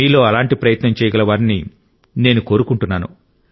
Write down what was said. మీలో అలాంటి ప్రయత్నం చేయగల వారిని నేను కోరుకుంటున్నాను